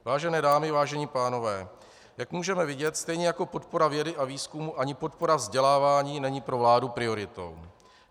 Vážené dámy, vážení pánové, jak můžeme vidět, stejně jako podpora vědy a výzkumu, ani podpora vzdělávání není pro vládu prioritou.